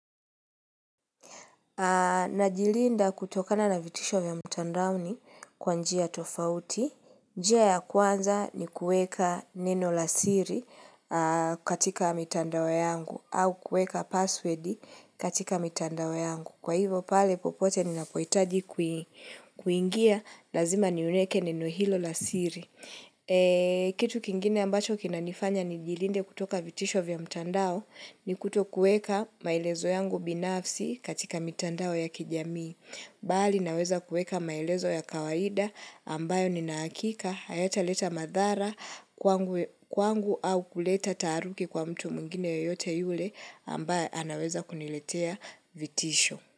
Najilinda kutokana na vitisho vya mtandaoni kwa njia tofauti. Njia ya kwanza ni kuweka neno la siri katika mitandao yangu au kuweka password katika mitandao yangu. Kwa hivyo pale popote ninapohitaji kuingia, lazima niliweke neno hilo la siri. Eee kitu kingine ambacho kinanifanya nijilinde kutoka vitisho vya mtandao ni kutokuweka maelezo yangu binafsi katika mitandao ya kijamii. Bali naweza kuweka maelezo ya kawaida ambayo nina uhakika hayataleta madhara kwangu au kuleta taharuki kwa mtu mwingine yoyote yule ambae anaweza kuniletea vitisho.